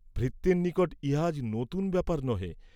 ভৃত্যের নিকট ইহা আজ নূতন ব্যাপার নহে।